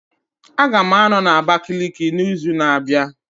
Aga m anọ na Abakiliki n'izu na-abịa